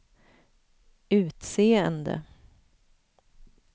utseende